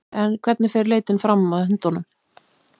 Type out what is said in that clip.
En hvernig fer leitin fram að hundunum?